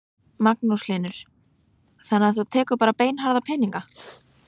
Magnús Hlynur: Þannig að þú tekur bara beinharða peninga?